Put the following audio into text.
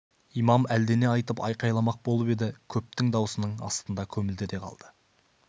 имам әлдене айтып айқайламақ болып еді көптің дауысының астында көмілді де қалды